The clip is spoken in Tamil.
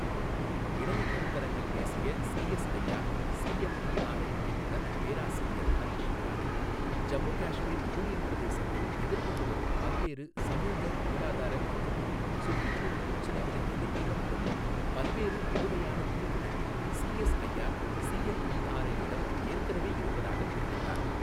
இணைய கருத்தரங்கில் பேசிய சிஎஸ்ஐஆர் சிஎம்ஈஆர்ஐ இயக்குநர் பேராசிரியர் ஹரிஷ் ஹிரானி, ஜம்மு காஷ்மீர் யூனியன் பிரதேசங்கள் எதிர்கொண்டு வரும் பல்வேறு சமுக, பொருளாதார மற்றும் சுற்றுச்சூழல் பிரச்சினைகளை எதிர்கொள்ள உதவும் பல்வேறு புதுமையான தீர்வுகள் சிஎஸ்ஐஆர் சிஎம்ஈஆர்ஐ இடம் ஏற்கனவே இருப்பதாக தெரிவித்தார்.